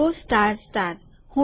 જુઓ સ્ટાર તારાનું ચિન્હ સ્ટાર